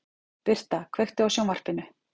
Birta, kveiktu á sjónvarpinu.